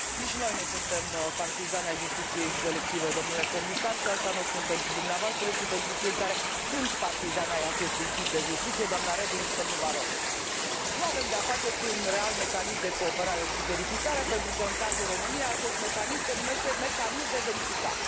Nici noi nu suntem partizani ai justiției selective, dle Comisar, și asta nu o spun pentru dumneavoastră, ci pentru cei care sunt partizani ai acestui tip de justiție, dna Reding și dl Barroso. Nu avem de a face cu un real mecanism de cooperare și verificare, pentru că, în cazul României, acest mecanism se numește mecanism de verificare.